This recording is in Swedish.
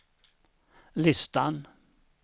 listan